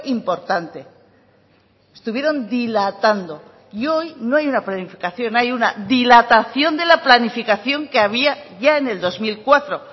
importante estuvieron dilatando y hoy no hay una planificación hay una dilatación de la planificación que había ya en el dos mil cuatro